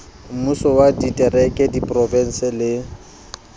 mmusong wa ditereke diprofensi le